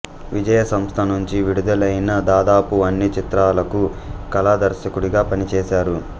విజయా సంస్థ నుంచి విడుదలైన దాదాపు అన్ని చిత్రాలకు కళా దర్శకుడిగా పనిచేశారు